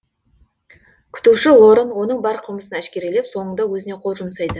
күтуші лоран оның бар қылмысын әшкерелеп соңында өзіне қол жұмсайды